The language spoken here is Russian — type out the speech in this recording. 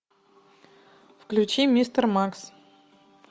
включи мистер макс